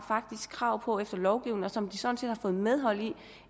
krav på efter lovgivningen og som de sådan set har fået medhold i